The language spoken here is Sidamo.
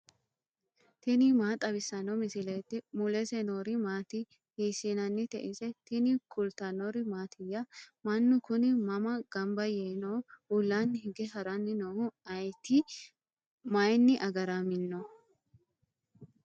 tini maa xawissanno misileeti ? mulese noori maati ? hiissinannite ise ? tini kultannori mattiya? Mannu kunni mama ganbba yee nooho? Ullanni hige haranni noohu ayiitti? mayiinni agaramminno?